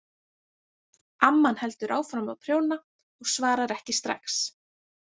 Amman heldur áfram að prjóna og svarar ekki strax.